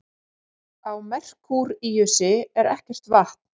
Á Merkúríusi er ekkert vatn.